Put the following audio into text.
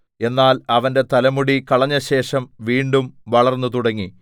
എന്നാൽ അവന്റെ തലമുടി കളഞ്ഞശേഷം വീണ്ടും വളർന്നു തുടങ്ങി